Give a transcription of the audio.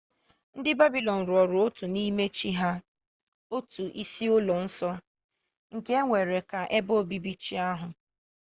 ndị babịlọn rụrụ otu n'ime chi ha otu isi ụlọ nsọ nke e were ka ebe obibi chi ahụ